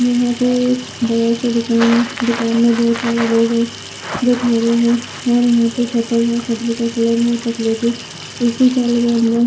यहां पे बहुत सारेजो खड़े है ए _सी चल रहा है।